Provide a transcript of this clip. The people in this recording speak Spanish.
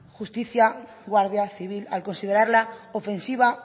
justicia guardia civil al considerarla ofensiva